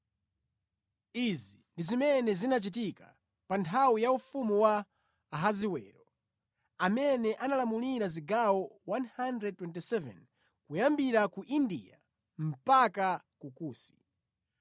Izi ndi zimene zinachitika pa nthawi ya ufumu wa Ahasiwero, amene analamulira zigawo 127 kuyambira ku India mpaka ku Kusi.